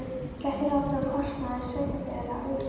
Gert er ráð fyrir að kostnaður sveitarfélaga aukist.